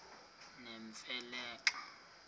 nemfe le xa